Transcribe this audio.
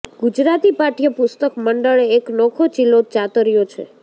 ગુજરાતી પાઠ્યપુસ્તક મંડળે એક નોખો ચિલો ચાતર્યો છે